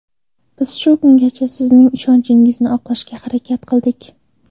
Biz shu kungacha sizning ishonchingizni oqlashga harakat qildik.